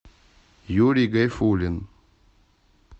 юрий гайфулин